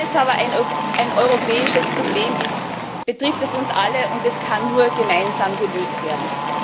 Weil es aber eine ein europäisches Problem ist, betrifft es uns alle, und es kann nur gemeinsam gelöst werden.